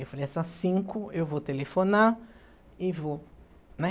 Eu falei, essas cinco, eu vou telefonar e vou, né?